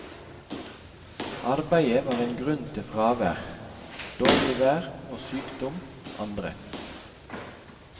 Arbeid var en grunn til fravær, dårlig vær og sykdom andre.